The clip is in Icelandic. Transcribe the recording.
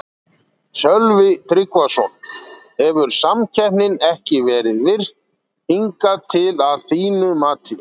Sölvi Tryggvason: Hefur samkeppnin ekki verið virk hingað til að þínu mati?